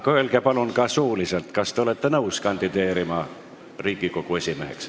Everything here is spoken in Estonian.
Aga öelge palun ka suuliselt, kas te olete nõus kandideerima Riigikogu esimeheks.